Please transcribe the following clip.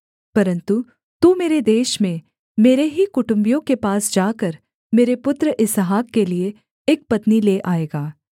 परन्तु तू मेरे देश में मेरे ही कुटुम्बियों के पास जाकर मेरे पुत्र इसहाक के लिये एक पत्नी ले आएगा